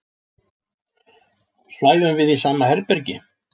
Svæfum við í sama herbergi?